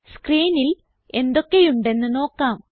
സ്ക്രീനിൽ എന്തൊക്കെയുണ്ടെന്ന് നോക്കാം